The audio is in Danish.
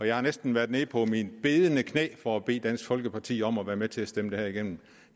jeg har næsten været nede på mine bedende knæ for at bede dansk folkeparti om at være med til at stemme det her igennen